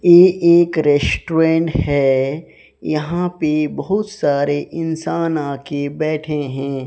ये एक रेस्टोरेंट है यहां पे बहुत सारे इंसान आ के बैठे हैं।